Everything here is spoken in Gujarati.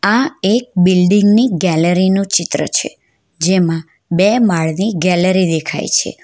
આ એક બિલ્ડીંગ ની ગેલેરી નું ચિત્ર છે જેમાં બે માળની ગેલેરી દેખાય છે.